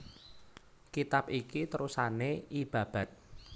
Kitab iki terusané I Babad